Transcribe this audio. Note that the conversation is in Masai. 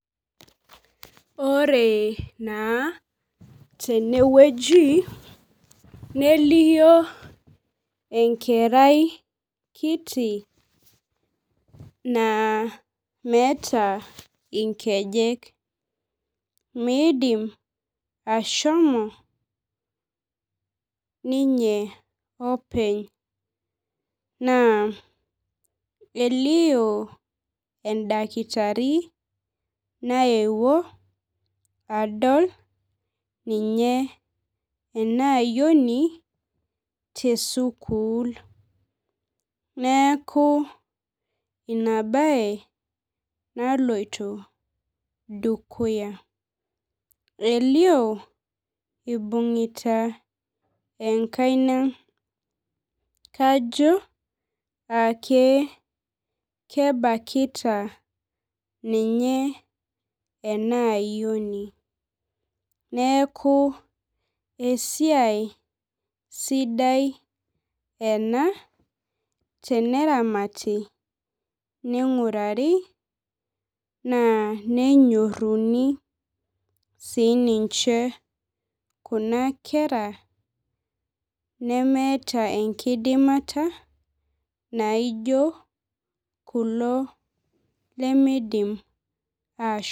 Ore naa tenewueji nelio enkerai kiti na meeta nkejek midim ashomo ninye openy naa elio endakitari naewuo adol ninye emaayioni tesukul neaku inabae naloito dukuya elio ibungita enkaina kajo ake kebakita ninye enaayioni neakubesiai sidia ena teneramati ninguraru nenyoruni sininche kuna Kera nemeeta enkidimata anaa kulo lemeidim ashom